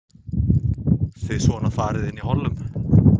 Þið svona farið inn í hollum?